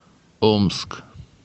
омск